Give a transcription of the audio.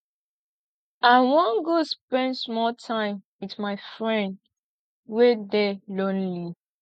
i wan go spend small time wit my friend wey dey lonely